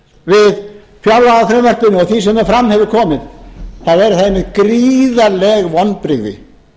við fjárlagafrumvarpinu og því sem fram hefur komið þá eru það einmitt gríðarleg vonbrigði